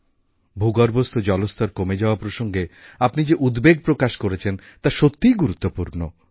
ভূগর্ভস্থ জলস্তর কমে যাওয়া প্রসঙ্গে আপনি যে উদ্বেগ প্রকাশ করেছেন তা সত্যিই গুরুত্বপূর্ণ